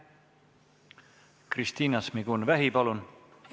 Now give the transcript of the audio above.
Kristina Šmigun-Vähi, palun!